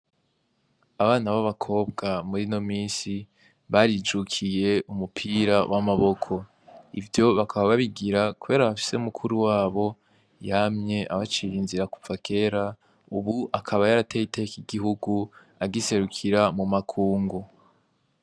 Abana b'abakobwa muri no misi barijukiye umupira w'amaboko ivyo bakaba babigira kobera bafise mukuru wabo yamye abacira inzira kupfa kera, ubu akaba yarateye iteka igihugu agiserukira mu makungu.